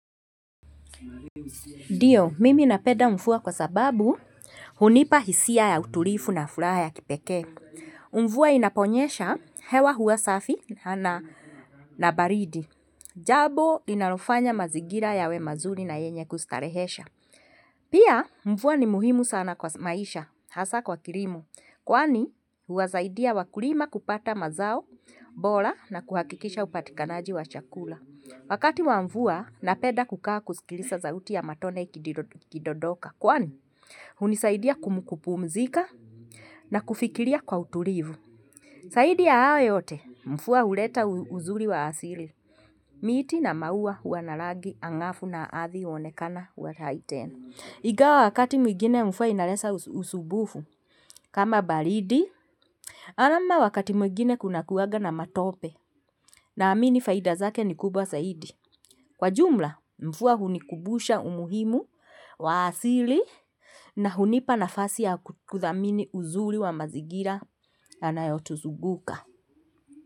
Ndiyo, mimi napenda mvua kwa sababu hunipa hisia ya utulivu na furaha ya kipekee. Mvua inaponyesha hewa huwa safi na baridi. Jambo linalofanya mazingira yawe mazuri na yenye kustarehesha. Pia mvua ni muhimu sana kwa maisha, hasaa kwa kilimo. Kwani huwasaidia wakulima kupata mazao bora na kuhakikisha upatikanaji wa chakula. Wakati wa mvua napenda kukaa kusikiliza sauti ya matone ikidondoka kwani hunisaidia kupumzika na kufikiria kwa utulivu. Zaidi ya hayo yote mvua huleta uzuri wa asili. Miti na maua hua na rangi angafu na ardhi huonekana wa lighten. Ingawa wakati mwingine mvua inaleta usumbufu kama baridi ama wakati mwingine kuna kuwaga na matope. Naamini faida zake ni kubwa zaidi. Kwa jumla mvua hunikumbusha umuhimu wa asili na hunipa nafasi ya kuthamini uzuri wa mazingira yanayotuzunguka.